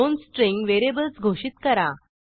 दोन string variables घोषित करा